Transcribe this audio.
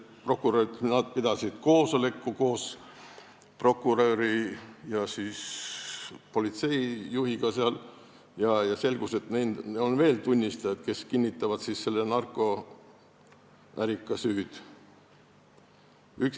Öeldi, et nad pidasid koos prokuröri ja politseijuhiga koosoleku ning selgus, et neil on veel tunnistajaid, kes kinnitavad narkoärika süüd.